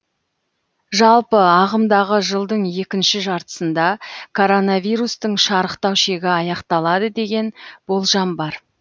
жалпы ағымдағы жылдың екінші жартысында коронавирустың шарықтау шегі аяқталады деген болжам бар